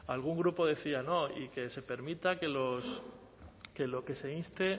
algún grupo decía no y que se permita que lo que se inste